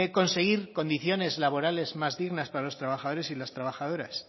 conseguir condiciones laborales más dignas para los trabajadores y las trabajadoras